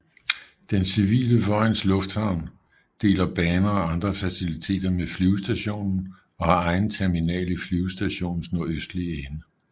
Den civile Vojens Lufthavn deler baner og andre faciliteter med flyvestationen og har egen terminal i flyvestationens nordøstlige ende